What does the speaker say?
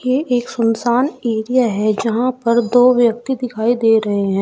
ये एक सुनसान एरिया है जहां पर दो व्यक्ति दिखाई दे रहे हैं।